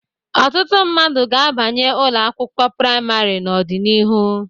Ọtụtụ mmadụ ga-abanye ụlọ akwụkwọ praịmarị n'ọdịnihu.